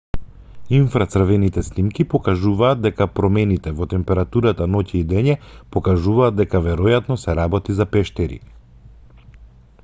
инфрацрвените снимки покажуваат дека промените во температурата ноќе и дење покажуваат дека веројатно се работи за пештери